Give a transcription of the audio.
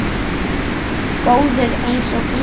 Góður einsog hundur.